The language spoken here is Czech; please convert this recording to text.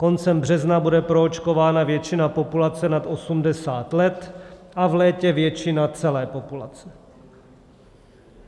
Koncem března bude proočkována většina populace nad 80 let a v létě většina celé populace.